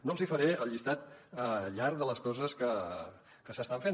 no els hi faré el llistat llarg de les coses que s’estan fent